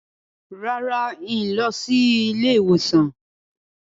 Rárá, n kò ní lọ sí ilé ìwòsàn